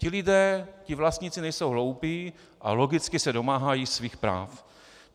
Ti lidé, ti vlastníci, nejsou hloupí a logicky se domáhají svých práv.